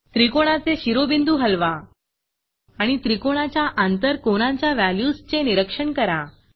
त्रिकोणाचे शिरोबिंदू हलवा आणि त्रिकोणाच्या आंतर कोनांच्या वॅल्यूज चे निरीक्षण करा